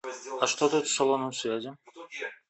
а что тут с салоном связи